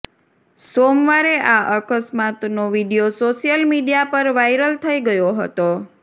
સોમવારે આ અકસ્માતનો વીડિયો સોશિયલ મીડિયા પર વાઇરલ થઈ ગયો હતો